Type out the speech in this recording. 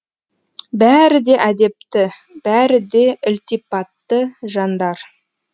бәрі де әдепті бәрі де ілтипатты жандар